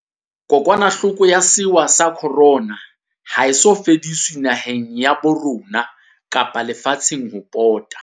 Kokwanahloko ya sewa sa Corona ha e so fediswe, naheng ya bo rona kapa le fatsheng ho pota.